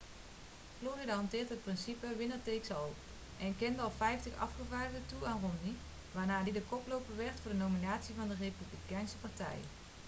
florida hanteert het principe winner takes all' en kende alle vijftig afgevaardigden toe aan romney waarna die de koploper werd voor de nominatie van de republikeinse partij